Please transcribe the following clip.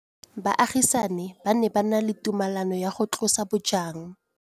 Baagisani ba ne ba na le tumalanô ya go tlosa bojang.